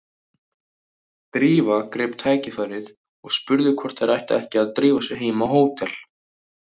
Drífa greip tækifærið og spurði hvort þær ættu ekki að drífa sig heim á hótel.